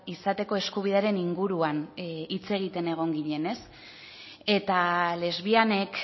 izateko eskubidearen inguruan hitz egiten egon ginen eta lesbianek